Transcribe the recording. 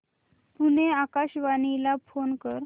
पुणे आकाशवाणीला फोन कर